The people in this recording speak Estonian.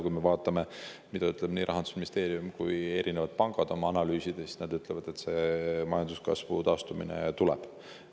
Kui me vaatame, mida ütlevad nii Rahandusministeerium kui ka erinevad pangad oma analüüsides, siis näeme, et nad ütlevad, et majanduskasvu taastumine tuleb.